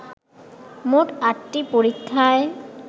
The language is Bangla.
মোট আটটি পরীক্ষায়